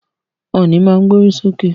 Ọ̀nì má to gbórí sókè.